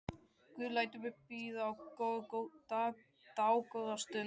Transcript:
Guð lætur mig bíða dágóða stund.